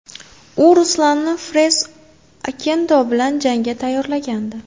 U Ruslanni Fres Okendo bilan jangga tayyorlagandi.